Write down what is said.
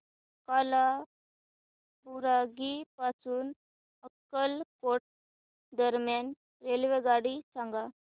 कालाबुरागी पासून अक्कलकोट दरम्यान रेल्वेगाडी सांगा